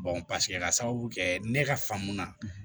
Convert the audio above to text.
paseke ka sababu kɛ ne ka famuya